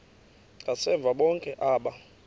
ngasemva bonke aba